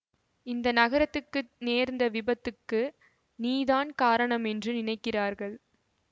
இந்த நகரத்துக்கு நேர்ந்த விபத்துக்கு நீதான் காரணம் என்று நினைக்கிறார்கள்